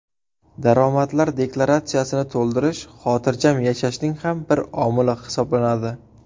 Daromadlar deklaratsiyasini to‘ldirish xotirjam yashashning ham bir omili hisoblanadi.